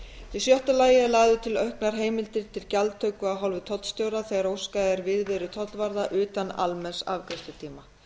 í sjötta lagi eru lagðar til auknar heimildir til gjaldtöku af hálfu tollstjóra þegar óskað er viðveru tollvarða utan almenns afgreiðslutíma